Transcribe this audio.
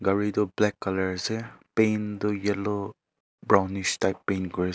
gari toh black colour ase.